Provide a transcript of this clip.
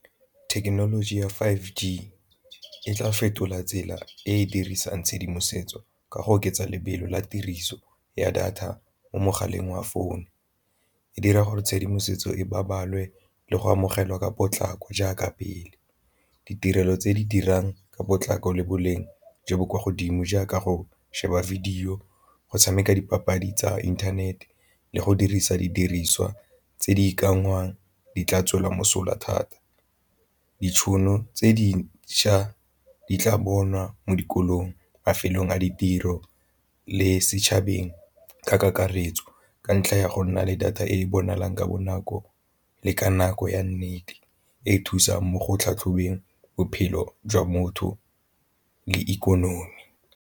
Thekenoloji ya five G e tla fetola tsela e e dirisang tshedimosetso ka go oketsa lebelo la tiriso ya data mo mogaleng wa phone, e dira gore tshedimosetso e le go amogelwa ka potlako jaaka pele, ditirelo tse di dirang ka potlako le boleng jo bo kwa godimo jaaka go sheba video go tshameka dipapadi tsa inthanete le go dirisa didiriswa tse di ikanngwang di tla tswela mosola thata. Ditšhono tse dintšha di tla bonwa mo dikolong mafelong a ditiro le setšhabeng ka kakaretso, ka ntlha ya go nna le data e e bonalang ka bonako le ka nako ya nnete e e thusang mo go tlhatlhobeng bophelo jwa motho le ikonomi.